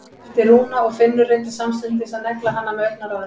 æpti Rúna og Finnur reyndi samstundis að negla hana með augnaráðinu.